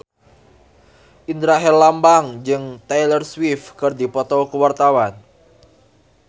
Indra Herlambang jeung Taylor Swift keur dipoto ku wartawan